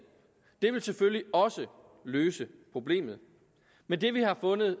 det vil selvfølgelig også løse problemet men det vi har fundet